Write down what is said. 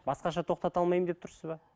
басқаша тоқтата алмаймын деп тұрсыз ба